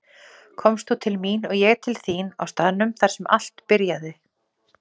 Komst þú til mín og ég til þín á staðnum þar sem allt byrjaði.